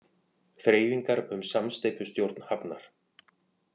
Þreifingar um samsteypustjórn hafnar